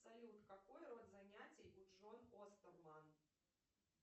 салют какой род занятий у джон остерман